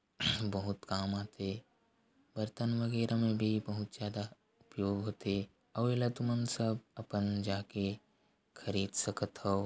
बहुत काम आथे बर्तन वगेरा में भी बहुत ज़्यादा उपयोग होथे अउ एला तुमन सब अपन जाके खरीद सकत हव।